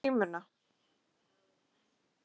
Að sjá undir grímuna